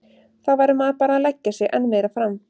Þá verður maður bara að leggja sig enn meira fram.